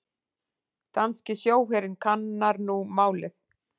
Danski sjóherinn kannar nú málið